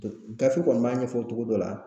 gafe kɔni b'a ɲɛfɔ cogo dɔ la